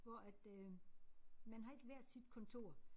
Hvor at øh man har ikke hvert sit kontor